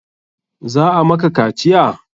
Za a maka kaciya?